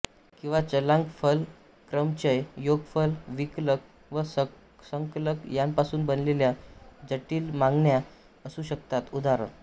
किंवा चलांक फल क्रमचय योगफल विकलक व संकलक यांपासून बनलेल्या जटिल मांडण्या असू शकतात उदा